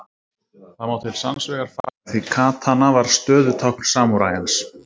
Það má til sanns vegar færa því katana var stöðutákn samúræjans.